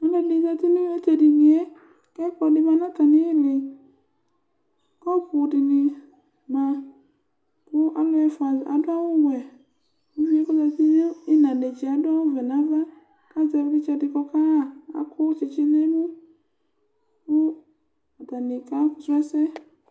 Ɔlɔdi zãti nu tu ɛdini yɛ Ku ɛkplɔ ɖi mã nu atami li Kɔpu ɖini mã, ku ãlu ɛfua aɖu awu wɛ Uviyɛ ku ɔzati nu ínán netse aɖu awu wɛ nu ãvã, ku azɛ iwlitsɛ ɖi ku ɔka ɣa Akɔ tsitsi nu emu Ku atani ka srɔ ɛsɛ